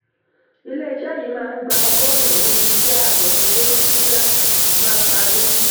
ilé-iṣẹ́ yìí máa gba ogorun-un iṣẹ́ àkànṣe tí oṣìṣẹ́ bá parí.